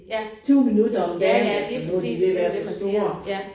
Ja. Ja ja lige præcis det jo det man siger ja